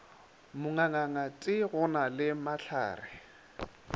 mangangate go na le mahlare